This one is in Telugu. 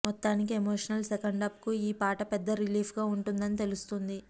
మొత్తానికి ఎమోషనల్ సెకండాఫ్ కు ఈ పాట పెద్ద రిలీఫ్ గా వుంటుందని తెలుస్తోంది